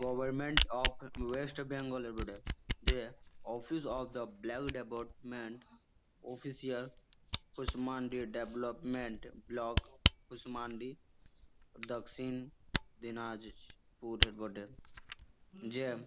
government of West Bengal এ বটে দিয়ে-এ office of the block development official Kushmandi development block Kushmandi Dakshin Dinajpur বটে জে--